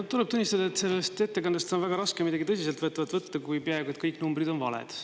No tuleb tunnistada, et sellest ettekandest on väga raske midagi tõsiselt võtvat võtta, kui peaaegu et kõik numbrid on valed.